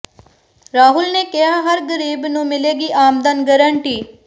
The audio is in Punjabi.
ਰਾਹੁਲ ਨੇ ਕਿਹਾ ਹਰ ਗਰੀਬ ਨੂੰ ਮਿਲੇਗੀ ਆਮਦਨ ਗਾਰੰਟੀ